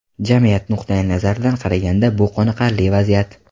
Jamiyat nuqtayi nazaridan qaraganda, bu qoniqarli vaziyat.